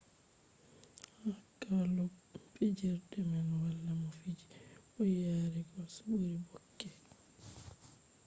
ha klub fijerde man wala mo fiji bo yari gols ɓuri bobek